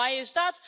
And why is that?